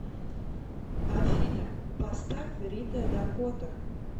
афина поставь рита дакота